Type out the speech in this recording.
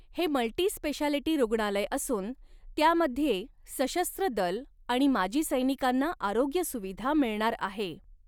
हे multi speciality रुग्णालय असून त्यामध्ये सशस्त्र दल आणि माजी सैैनिकांना आरोग्यसुविधा मिळणार आहे.